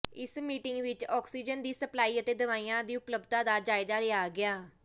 ਇਸ ਮੀਟਿੰਗ ਵਿੱਚ ਆਕਸੀਜਨ ਦੀ ਸਪਲਾਈ ਅਤੇ ਦਵਾਈਆਂ ਦੀ ਉਪਲਬਧਤਾ ਦਾ ਜਾਇਜ਼ਾ ਲਿਆ ਗਿਆ